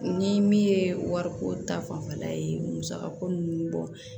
Ni min ye wariko ta fanfɛla ye musaka ko ninnu bɔ